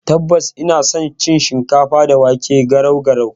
Tabbas, ina san cin shikafa da wake (garau garau).